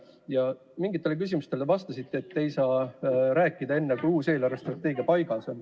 Ja mingitele küsimustele vastates te ütlesite, et ei saa rääkida enne, kui uus eelarvestrateegia paigas on.